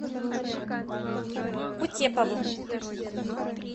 кутеповым